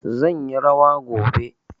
Zan yi rawa gobe.